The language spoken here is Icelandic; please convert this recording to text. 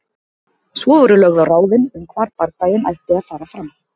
Svo voru lögð á ráðin um hvar bardaginn ætti að fara fram.